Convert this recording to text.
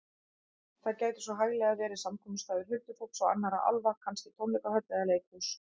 Þar gæti svo hæglega verið samkomustaður huldufólks og annarra álfa, kannski tónleikahöll eða leikhús.